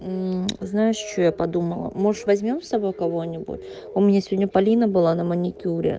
знаешь что я подумала может возьмём с собой кого-нибудь у меня сегодня полина была на маникюр